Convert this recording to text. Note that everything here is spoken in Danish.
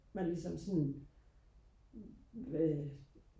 man ligesom sådan øh